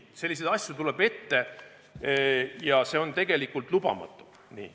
Selliseid asju tuleb ette ja see on tegelikult lubamatu.